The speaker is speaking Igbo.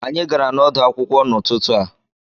Anyị gara n'ọdụ̀ akwụkwọ n'ututu a